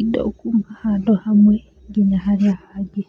indo kuma handũ hamwe kinya harĩa hangĩ.